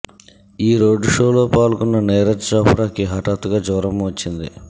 ఈ రోడ్ షోలో పాల్గొన్న నీరజ్ చోప్రాకి హఠాత్తుగా జ్వరం వచ్చింది